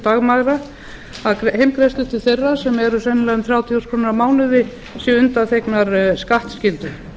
dagmæðra að heimgreiðslur til þeirra sem eru sennilega um þrjátíu þúsund krónur á mánuði séu undanþegnar skattskyldu